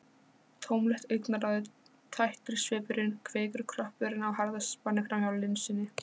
Tómlegt augnaráðið, tættur svipurinn- kvikur kroppurinn á harðaspani framhjá linsunni.